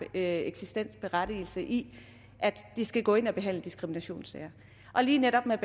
eksistensberettigelse i at det skal gå ind og behandle diskriminationssager lige netop med